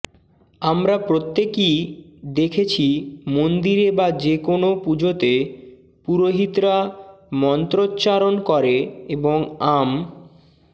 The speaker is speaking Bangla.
আমরা প্রত্যেকই দেখেছি মন্দিরে বা যেকোনও পুজোতে পুরোহিতরা মন্ত্রচ্চারণ করে এবং আম